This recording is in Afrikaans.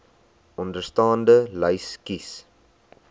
onderstaande lys kies